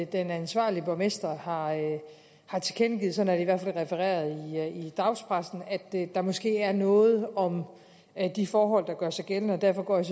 den ansvarlige borgmester har har tilkendegivet sådan i hvert fald refereret i dagspressen at der måske er noget om at de forhold gør sig gældende derfor går jeg